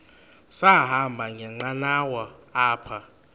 sahamba ngenqanawa apha